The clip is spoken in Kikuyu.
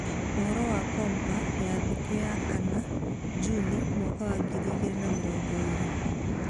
Ũhoro wa Kompa ya Thĩ Thikũ ya 4, Juni 2020